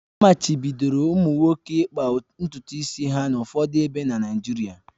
Amachibidoro ụmụ nwoke ịkpa ntutu isi ha n'ụfọdụ ebe na Naịjirịa